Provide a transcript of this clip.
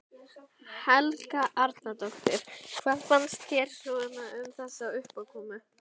Helga Arnardóttir: Hvað fannst þér svona um þessa uppákomu?